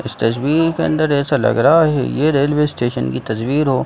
इस तस्वीर के अंदर ऐसा लग रहा हैये रेलवे स्टेसन की तस्वीर हो।